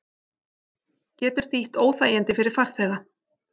Getur þýtt óþægindi fyrir farþega